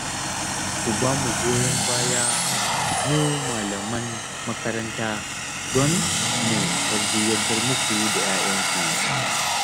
Ku ba mu goyon baya mu malaman makaranta don mu tarbiyyantar muku da 'ya'yanku